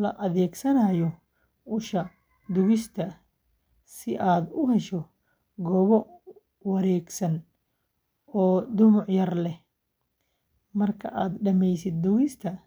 la adeegsanayo usha duugista si aad u hesho goobo wareegsan oo dhumuc yar leh, markaad dhamaysid duugista.